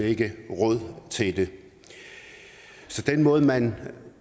ikke råd til det den måde man